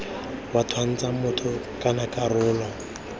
wa twantsha motho kana karolo